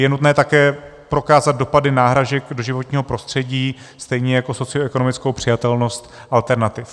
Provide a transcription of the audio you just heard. Je nutné také prokázat dopady náhražek do životního prostředí, stejně jako socioekonomickou přijatelnost alternativ.